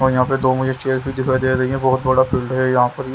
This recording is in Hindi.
और यहाँ पे दो मुझे चेयर भी दिखाई दे रही है बहुत बड़ा फील्ड हैयहाँ पर।